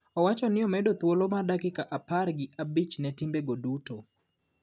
Owacho ni omedo thuolo mar dakika apar gi abich ne timbe go duto